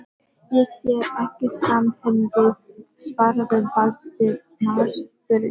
Ég sé ekki samhengið- svaraði Valdimar þurrlega.